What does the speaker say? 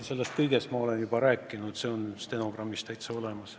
Sellest kõigest ma olen juba rääkinud, see on stenogrammis täitsa olemas.